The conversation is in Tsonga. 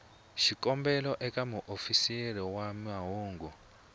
xikombelo eka muofisiri wa mahungu